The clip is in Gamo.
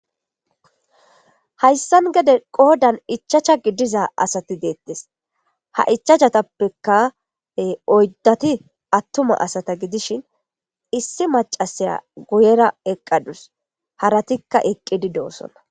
Hayssan gede qoodan ichchasha gidiza asati deettes. Ha ichchashatappeka oyddati attuma asata gidishin issi macasiya guyera eqqadus. haratikka eqqidoosona.